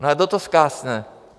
No a kdo to zkásne?